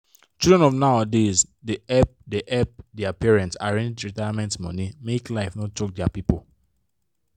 children of nowadays da help da help dia parents arrange retirement money make life no choke dia people